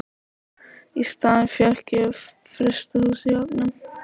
Í staðinn fékk ég frystihús í Höfnum.